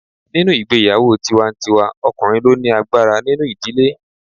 Nínú ìgbéyàwó tiwa-n-tiwa ọkùnrin ló ni agbára nínú ìdílé